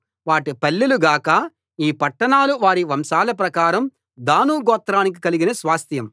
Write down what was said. వాటి పల్లెలుగాక ఈ పట్టణాలు వారి వంశాల ప్రకారం దాను గోత్రానికి కలిగిన స్వాస్థ్యం